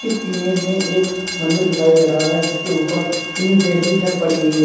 इस इमेज में एक मंदिर दिखाई दे रहा है जिसके ऊपर टीन शेड की छत पड़ी हुई है।